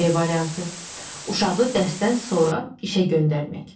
B variantı, uşağı dərsdən sonra işə göndərmək.